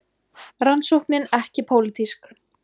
Rannsóknin ekki pólitísk